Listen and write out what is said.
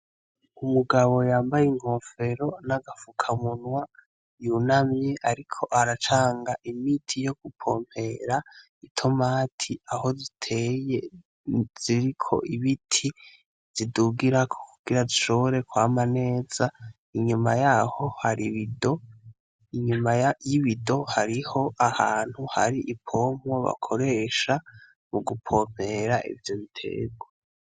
Umugabo yambaye inkofero n'agafukamunwa yunamye, ariko aracanga imiti yo gupompera itomati aho ziteye ziriko ibiti zidugirako kugira zishoore kwama neza inyuma yaho haribido inyuma ma ya iwido hariho ahantu hari ipompwo bakoresha mu gupompera ivyo biterwa.